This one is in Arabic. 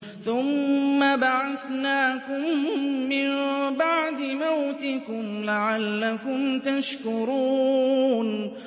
ثُمَّ بَعَثْنَاكُم مِّن بَعْدِ مَوْتِكُمْ لَعَلَّكُمْ تَشْكُرُونَ